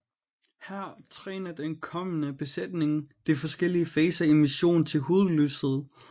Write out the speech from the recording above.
Her træner den kommende besætning de forskellige faser i missionen til hudløshed